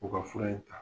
U ka fura in ta